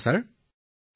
সামান্য বিশদভাৱে কওক